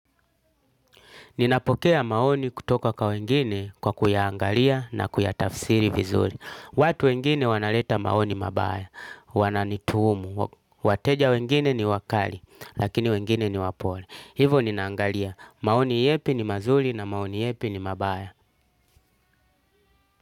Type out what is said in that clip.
Ninapokea maoni kutoka kwa wengine kwa kuyaangalia na kuyatafsiri vizuri. Watu wengine wanaleta maoni mabaya, wananituhumu. Wateja wengine ni wakali, lakini wengine ni wapole. Hivyo ninaangalia. Maoni yepi ni mazuri na maoni yepi ni mabaya.